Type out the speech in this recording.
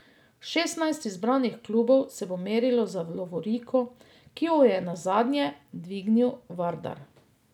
Šestnajst izbranih klubov se bo merilo za lovoriko, ki jo je nazadnje dvignil Vardar.